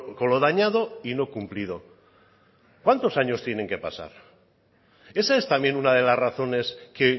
con lo dañado y no cumplido cuántos años tienen que pasar esa es también una de las razones que